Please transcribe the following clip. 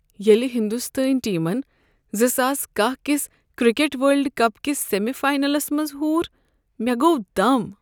ییٚلہ ہندوستٲنۍ ٹیمن زٕ ساس کہہَ کس کرکٹ ورلڈ کپ کِس سیمی فاینلس منٛز ہور، مےٚ گوٚو دم